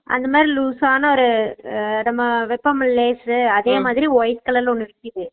அந்தமாரி loose சான ஒரு அஹ நம்ம வேப்போம்ல lays உ அதே மாதிரி white colour ல ஒன்னு விக்கிது